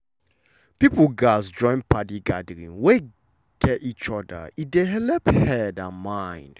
people gatz join padi gathering wey gat each other e dey helep head and mind.